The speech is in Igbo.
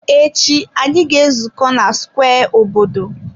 Echi, anyị ga-ezukọ na square obodo.